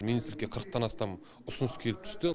министрлікке қырықтан астам ұсыныс келіп түсті